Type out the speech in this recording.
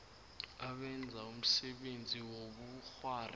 abenza umsebenzi wobukghwari